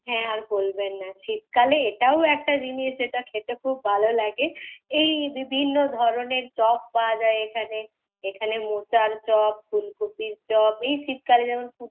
হ্যাঁ আর বলবেন না, শীতকালে এটাও একটা জিনিস যেটা খেতে খুব ভালো লাগে। এই বিভিন্ন ধরণের চপ পাওয়া যায় এখানে। এখানে মোচার চপ ফুলকফির চপ, এই শীতকালে যেমন,